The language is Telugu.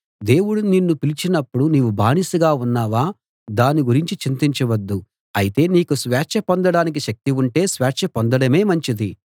దేవుడు నిన్ను పిలిచినప్పుడు నీవు బానిసగా ఉన్నావా దాని గురించి చింతించవద్దు అయితే నీకు స్వేచ్ఛ పొందడానికి శక్తి ఉంటే స్వేచ్ఛ పొందడమే మంచిది